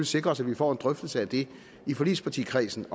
sikre os at vi får en drøftelse af det i forligspartikredsen